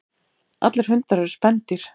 Allir hundar eru spendýr.